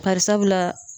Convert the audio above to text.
Bari sabula